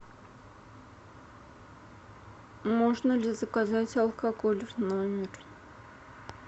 можно ли заказать алкоголь в номер